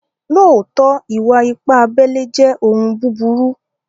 Lóótọ̀, ìwà-ìpà àbèlè jẹ́ ọ̀un bùbúrù.